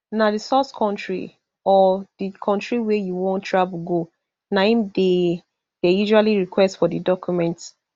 na di source kontri or di kontri wey wey you wan travel go na im dey dey usually request for di document